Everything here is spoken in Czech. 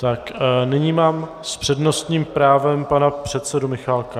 A nyní mám s přednostním právem pana předsedu Michálka.